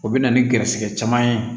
O bɛ na ni garisɛgɛ caman ye